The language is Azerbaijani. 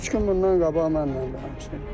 Üç gün bundan qabaq mənimlə danışıb.